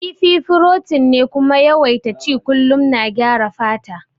Kifi furotin ne kuma yawaita ci kullum na gyara fata